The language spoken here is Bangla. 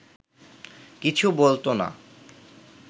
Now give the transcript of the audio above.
কিছু বলত না